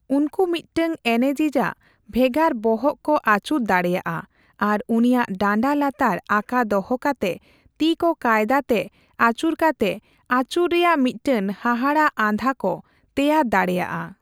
ᱩᱱᱠᱩ ᱢᱤᱫᱴᱟᱝ ᱮᱱᱮᱡᱤᱡ ᱟᱜ ᱵᱷᱮᱜᱟᱨ ᱵᱚᱦᱚᱜ ᱠᱚ ᱟᱹᱪᱩᱨ ᱫᱟᱲᱮᱭᱟᱜᱼᱟ ᱟᱨ ᱩᱱᱤᱭᱟᱜ ᱰᱟᱸᱰᱟ ᱞᱟᱛᱟᱨ ᱟᱠᱟ ᱫᱚᱦᱚ ᱠᱟᱛᱮ ᱛᱤᱻᱠᱚ ᱠᱟᱭᱫᱟ ᱛᱮ ᱟᱹᱪᱩᱨ ᱠᱟᱛᱮ ᱟᱹᱪᱩᱨ ᱨᱮᱭᱟᱜ ᱢᱤᱫᱴᱟᱝ ᱦᱟᱦᱟᱲᱟᱜ ᱟᱸᱫᱷᱟ ᱠᱚ ᱛᱮᱭᱟᱨ ᱫᱟᱲᱮᱭᱟᱜᱼᱟ ᱾